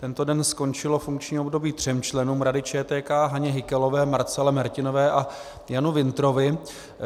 Tento den skončilo funkční období třem členům Rady ČTK - Haně Hykalové, Marcele Mertinové a Janu Wintrovi.